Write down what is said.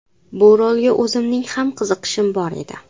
Bu rolga o‘zimning ham qiziqishim bor edi.